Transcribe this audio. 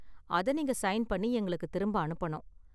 அதை நீங்க சைன் பண்ணி எங்களுக்கு திரும்ப அனுப்பனும்.